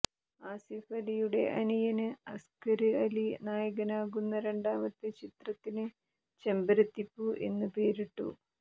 ആസിഫ് അലിയുടെ അനിയന് അസ്ക്കര് അലി നായകനാകുന്ന രണ്ടാമത്തെ ചിത്രത്തിന് ചെമ്പരത്തിപ്പൂ എന്ന് പേരിട്ടു